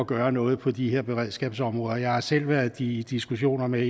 gøre noget på de her beredskabsområder jeg har selv været i diskussioner med